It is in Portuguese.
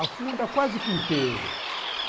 Afunda quase que inteiro.